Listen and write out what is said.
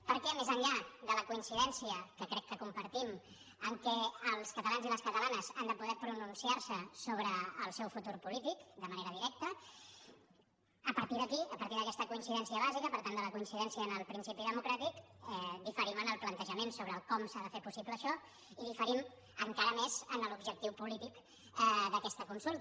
perquè més enllà de la coincidència que crec que compartim en el fet que els catalans i les catalanes han de poder pronunciar se sobre el seu futur polític de manera directa a partir d’aquí a partir d’aquesta coincidència bàsica per tant de la coincidència en el principi democràtic diferim en el plantejament sobre com s’ha de fer possible això i diferim encara més en l’objectiu polític d’aquesta consulta